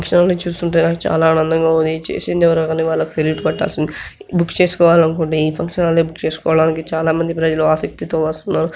ఈ function hall ని చూస్తుంటే నాకు చాలా ఆనందంగా ఉంది. ఇది చేసింది ఎవరో కానీ వాళ్లకు ఫీరీట్ పట్టాల్సిందే బుక్ చేసుకోవాలనుకుంటే ఈ ఫంక్షన్ హాల్ ని బుక్ చేసుకోవడానికి చాలా మంది ప్రజలు ఆసక్తితో వస్తున్నారు.